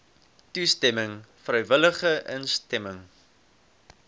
toestemming vrywillige instemming